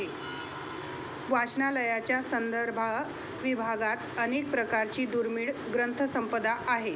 वाचनालयाच्या संदर्भ विभागात अनेक प्रकारची दुर्मिळ ग्रंथसंपदा आहे.